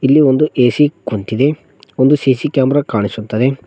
ಇಲ್ಲಿ ಒಂದು ಎ_ಸಿ ಕುಂತಿದೆ ಒಂದು ಸಿ_ಸಿ ಕ್ಯಾಮೆರಾ ಕಾಣಿಸುತ್ತದೆ.